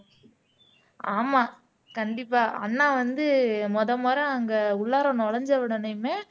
ஆமா கண்டிப்பா அண்ணா வந்து முதல் முறை அங்க உள்ளாற நுழைஞ்ச உடனேயுமே